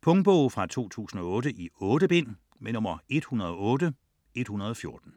Punktbog 108114 2008. 8 bind.